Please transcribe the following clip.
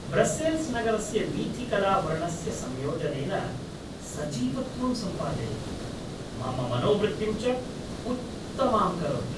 Brussels नगरस्य वीथिकला वर्णस्य संयोजनेन सजीवत्वं सम्पादयति, मम मनोवृत्तिं च उत्तमां करोति।